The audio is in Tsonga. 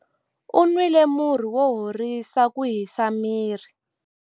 U nwile murhi wo horisa ku hisa miri.